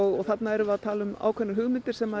þarna erum við að tala um ákveðnar hugmyndir sem